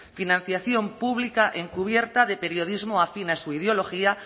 financiación pública encubierta de periodismo afín a su ideología